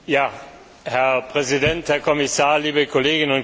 Herr Präsident, Herr Kommissar, liebe Kolleginnen und Kollegen!